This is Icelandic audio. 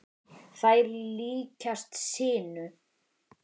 Þær líkjast sinu.